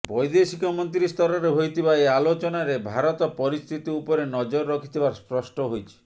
ବୈଦେଶିକମନ୍ତ୍ରୀ ସ୍ତରରେ ହୋଇଥିବା ଏହି ଆଲୋଚନାରେ ଭାରତ ପରିସ୍ଥିତି ଉପରେ ନଜର ରଖିଥିବା ସ୍ପଷ୍ଟ ହୋଇଛି